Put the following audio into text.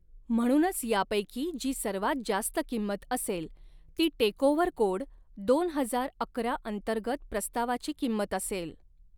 म्हणूनच यापैकी जी सर्वात जास्त किंमत असेल ती टेकओव्हर कोड दोन हजार अकरा अंतर्गत प्रस्तावाची किंमत असेल.